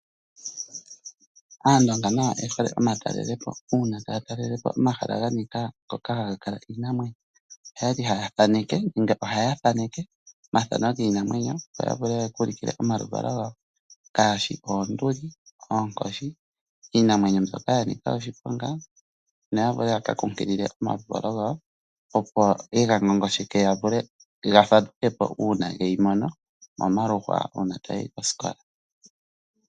Aandonga nayo oye hole omatalelepo. Uuna taya talele po omahala ga nika ngoka haga kala iinamwenyo ihaya thaneke nenge ohaya thaneke omathano giinamwenyo, opo ya vule ya ka ulukile omaluvalo gawo ngaashi oonduli, oonkoshi iinamwenyo mbyoka ya nika oshiponga noya vule ya ka kunkilile omaluvalo gawo, opo ye ga ngongosheke ga vule ga fadhuke po uuna ge yi mono momaluhwa uuna taya yi kosikola.